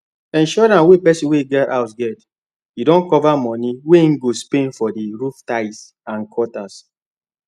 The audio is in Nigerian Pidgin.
insurance wey person wey get house get don cover money wey he go spend for the roof tiles and gutters